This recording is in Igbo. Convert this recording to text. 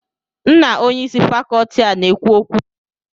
M na Onye isi Fakọọti a na-ekwu okwu ugbu a